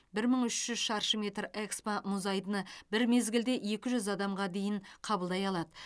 бір мың үш жүз шаршы метр экспо мұзайдыны бір мезгілде екі жүз адамға дейін қабылдай алады